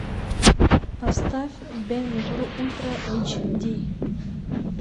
поставь бен гур ультра эйч ди